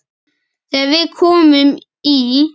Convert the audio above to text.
Þegar við komum í